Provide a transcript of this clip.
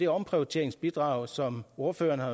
omprioriteringsbidrag som ordføreren har